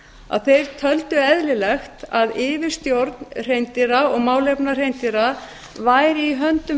að þeir á eru eðlilegt að yfirstjórn hreindýra og málefna hreindýra væri í höndum